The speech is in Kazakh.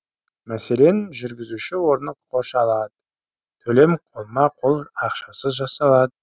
мәселен жүргізуші орны қоршалады төлем қолма қол ақшасыз жасалады